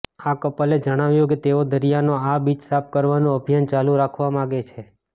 આ કપલે જણાવ્યું કે તેઓ દરિયાનો આ બીચ સાફ કરવાનું અભિયાન ચાલુ રાખવા માગે છે